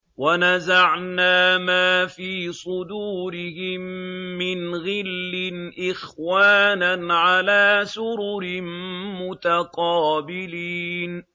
وَنَزَعْنَا مَا فِي صُدُورِهِم مِّنْ غِلٍّ إِخْوَانًا عَلَىٰ سُرُرٍ مُّتَقَابِلِينَ